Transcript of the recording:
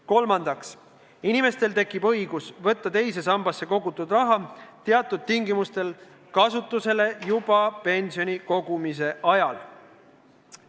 Kolmandaks, inimestel tekib õigus võtta teise sambasse kogutud raha teatud tingimustel kasutusele juba pensioni kogumise ajal.